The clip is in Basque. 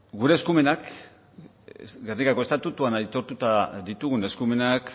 gure eskumenak gernikako estatutuan aitortuta ditugun eskumenak